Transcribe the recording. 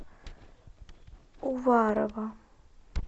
уварова